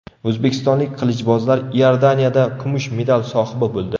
O‘zbekistonlik qilichbozlar Iordaniyada kumush medal sohibi bo‘ldi.